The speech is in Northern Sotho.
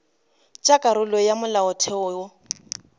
tša karolo ya molaotheo wo